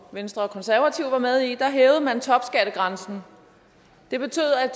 venstre og konservative var med i hævede man topskattegrænsen det betyder at